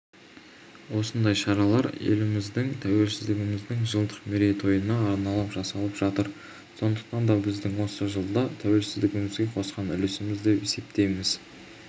осындай шаралар елдігіміздің тәуелсіздігіміздің жылдық мерейтойына арналып жасалып жатыр сондықтан да біздің осы жылда тәуелсіздігімізге қосқан үлесіміз деп есептейміз